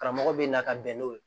Karamɔgɔ bɛ na ka bɛn n'o ye